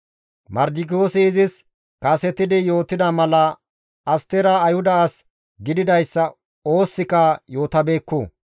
Mardikiyoosi izis kasetidi yootida mala Astera Ayhuda as gididayssa oosikka yootabeekku.